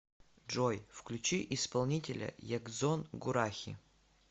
джой включи исполнителя ягзон гурахи